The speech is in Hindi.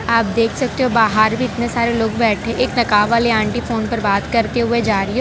आप देख सकते हो बाहर भी इतने सारे लोग बैठे एक नकाब वाली आंटी फोन पे बात करते हुए जा रही--